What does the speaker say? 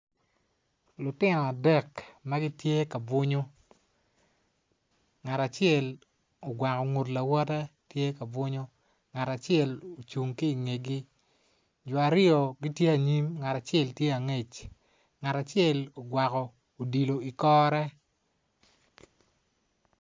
Lutino adek ma gitye ka bwunyo ngat acel ogwako ngut lawote tye ka bwunyo ngat acel ocung ki ingegi jo aryo gitye anyim ngat acel tye angec ngat acel ogwako odilo ikore.